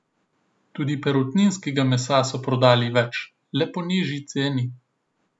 Tudi perutninskega mesa so prodali več, le po nižji ceni.